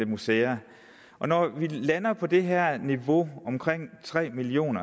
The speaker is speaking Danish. museer når vi lander på det her niveau omkring tre million